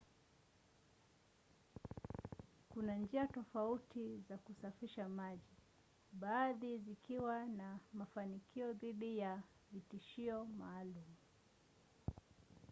kuna njia tofauti za kusafisha maji baadhi zikiwa na mafanikio dhidi ya vitishio maalum